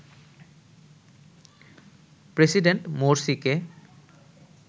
president মোরসিকে